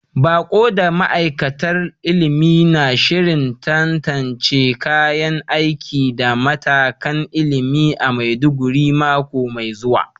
Bako daga ma'aikatar ilimi na shirin tantance kayan aiki da matakan ilimi a Maiduguri mako mai zuwa.